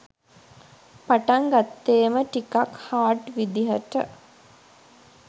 පටන් ගත්තේම ටිකක් හාඩ් විදිහට.